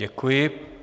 Děkuji.